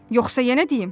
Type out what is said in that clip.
Yoxsa yenə deyim?